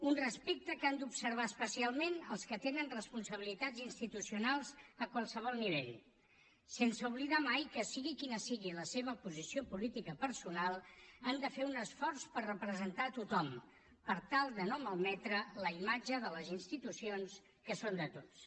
un respecte que han d’observar especialment els que tenen responsabilitats institucionals a qualsevol nivell sense oblidar mai que sigui quina sigui la seva posició política personal han de fer un esforç per representar a tothom per tal de no malmetre la imatge de les institucions que són de tots